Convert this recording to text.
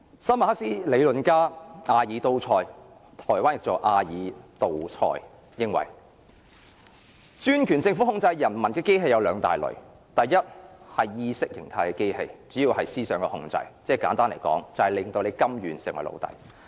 新馬克斯理論家阿爾都塞認為專權政府控制人民的機器有兩大類：第一是意識形態的機器，主要是思想控制，簡單來說，是令人民甘願成為奴隸。